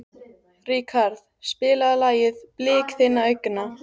Ríkharð, spilaðu lagið „Blik þinna augna“.